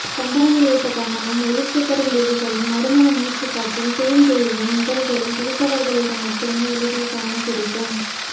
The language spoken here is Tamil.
சந்தனமிழைத்த கன்னமும் ஒளி சிதறும் விழிகளும் நறுமண மூச்சுக்காற்றும் தேன் வழியும் இதழ்களும் பிடித்தவர்களிடம் மட்டுமே எளிதில் காணக்கிடைக்கும்